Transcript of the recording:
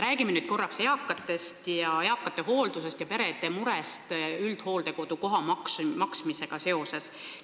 Räägime nüüd korraks eakate hooldusest ja perede murest üldhooldekodu koha maksmise pärast.